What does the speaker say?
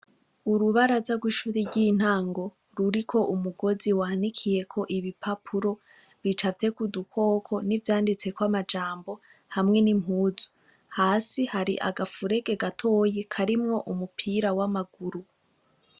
Urubaraza rw'ishuri y'intango ruriko umugozi wanikiyeko ibipapuro bicafyeko udukoko n'ivyanditseko amajambo hamwe n'impuzu. Hasi hari agafurege gatoyi karimwo umupira w'amaguru.